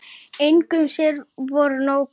Engin sem voru nógu góð.